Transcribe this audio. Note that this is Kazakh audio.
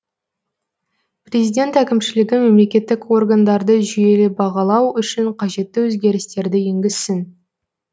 президент әкімшілігі мемлекеттік органдарды жүйелі бағалау үшін қажетті өзгерістерді енгізсін